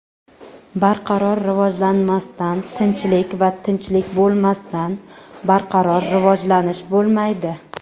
Barqaror rivojlanmasdan tinchlik va tinchlik bo‘lmasdan barqaror rivojlanish bo‘lmaydi.